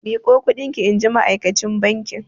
Miƙo kuɗin ki! inji ma'akacin bankin.